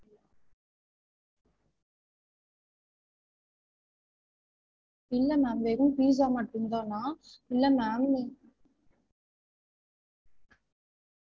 இல்ல ma'am வெறும் pizza மட்டும் தானா? இல்ல ma'am